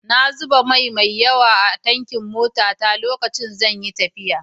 Na zuba mai mai yawa a tankin motata lokacin da zan yi tafiya.